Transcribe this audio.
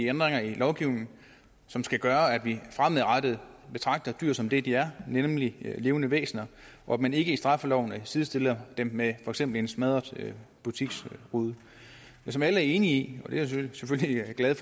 ændringer i lovgivningen som skal gøre at vi fremadrettet betragter dyr som det de er nemlig levende væsener og at man ikke i straffeloven sidestiller dem med for eksempel en smadret butiksrude som alle er enige i og jeg selvfølgelig glad